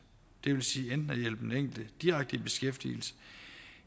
det vil sige enten den enkelte direkte i beskæftigelse